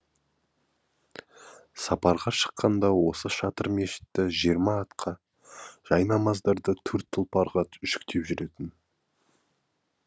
сапарға шыққанда осы шатыр мешітті жиырма атқа жайнамаздарды төрт тұлпарға жүктеп жүретін